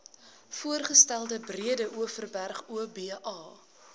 voorgestelde breedeoverberg oba